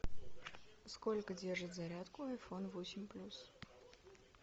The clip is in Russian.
сколько держит зарядку айфон восемь плюс